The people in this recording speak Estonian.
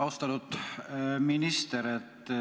Austatud minister!